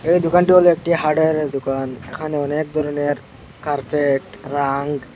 এই দোকানটি হল একটি হার্ডওয়ারের দোকান এখানে অনেক ধরনের কার্পেট রাঙ্গ--